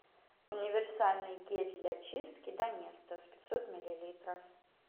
универсальный гель для чистки доместос пятьсот миллилитров